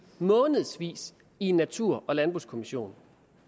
månedsvis i en natur og landbrugskommission